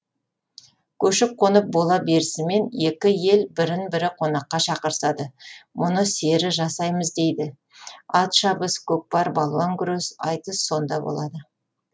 көшіп қонып бола берісімен екі ел бірін бірі қонаққа шақырысады мұны сері жасаймыз дейді ат шабыс көкпар балуан күрес айтыс сонда болады